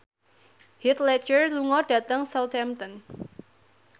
Heath Ledger lunga dhateng Southampton